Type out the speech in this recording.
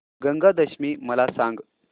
गंगा दशमी मला सांग